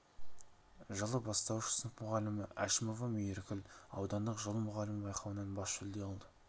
жылы бастауыш сынып мұғалімі әшімова мейіркүл аудандық жыл мұғалімі байқауынан бас жүлде алды